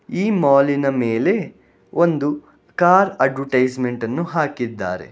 ಈ ಮಾಲಿನ ಮೇಲೆ ಒಂದು ಕಾರ್ ಅಡ್ವರ್ಟೈಸ್ಮೆಂಟ್ ಅನ್ನು ಹಾಕಿದ್ದಾರೆ.